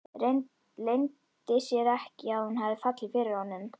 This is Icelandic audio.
Leyndi sér ekki að hún hafði fallið fyrir honum.